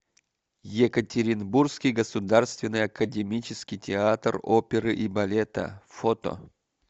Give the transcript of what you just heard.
екатеринбургский государственный академический театр оперы и балета фото